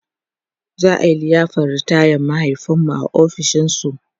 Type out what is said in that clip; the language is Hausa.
za'a liyafar ritayan mahaifinmu a ofishin su